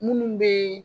Munnu be